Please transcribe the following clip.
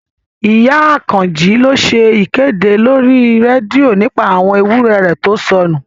Ìyá Àkànjí lọ ṣe ìkéde lórí rédíò nípa àwọn ewúrẹ̀ rẹ̀ tó sọnù